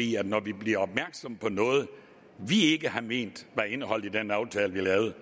i at når vi bliver opmærksomme på noget vi ikke har ment var indeholdt i den aftale vi lavede